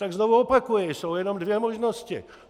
Tak znovu opakuji, jsou jenom dvě možnosti.